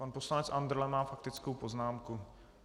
Pan poslanec Andrle má faktickou poznámku.